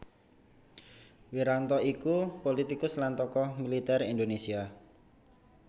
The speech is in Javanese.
Wiranto iku pulitikus lan tokoh militer Indonésia